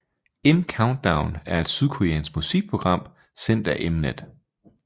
M Countdown er et sydkoreansk musikprogram sendt af Mnet